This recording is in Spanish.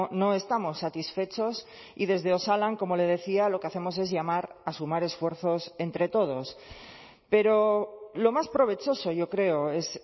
no estamos satisfechos y desde osalan como le decía lo que hacemos es llamar a sumar esfuerzos entre todos pero lo más provechoso yo creo es